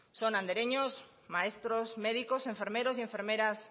son andereños maestros médicos enfermeros y enfermeras